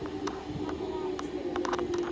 Hann er aðeins til í minningunni.